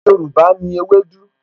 Ọbẹ̀ Yorùbá ni ewédú